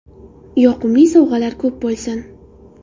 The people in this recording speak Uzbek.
Yoqimli sovg‘alar ko‘p bo‘lsin!